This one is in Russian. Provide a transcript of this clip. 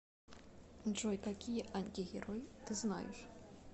джой какие антигерой ты знаешь